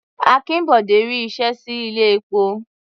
Akínbọ̀dé ri iṣẹ́ sí ilé-epo.